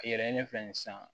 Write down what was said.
A yɛlɛ fɛ sisan